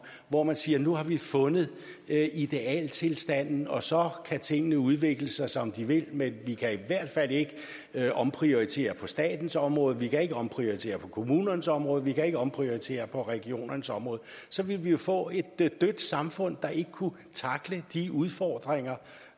hvor man siger nu har vi fundet idealtilstanden og så kan tingene udvikle sig som de vil men vi kan i hvert fald ikke omprioritere på statens område vi kan ikke omprioritere på kommunernes område vi kan ikke omprioritere på regionernes område så ville vi jo få et dødt samfund der ikke kunne tackle de udfordringer